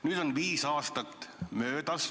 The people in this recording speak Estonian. Nüüd on viis aastat möödas.